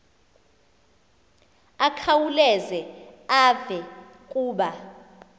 akhawuleze eve kuba